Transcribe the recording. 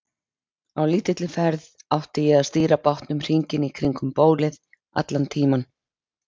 Á lítilli ferð átti ég að stýra bátnum hringinn í kringum bólið allan tímann.